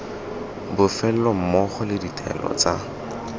bofelo mmogo le ditaelo tsa